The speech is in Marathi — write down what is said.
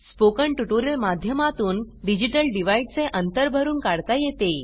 स्पोकन ट्युटोरियल माध्यमातून डिजिटल डिवाइड चे अंतर भरून काढता येते